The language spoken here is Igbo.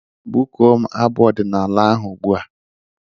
Bụkuo m abụ ọdịnaala ahụ ugbu a!